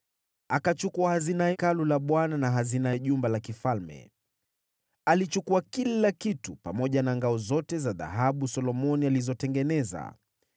Akachukua hazina za Hekalu la Bwana na hazina za jumba la kifalme. Akachukua kila kitu, pamoja na zile ngao zote za dhahabu ambazo Solomoni alikuwa amezitengeneza.